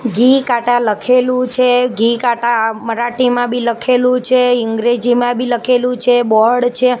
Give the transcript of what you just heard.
ઘી કાટા લખેલુ છે ઘી કાટા મરાઠીમાં બી લખલુ છે અંગ્રેજીમાં બી લખલુ છે બોર્ડ છે.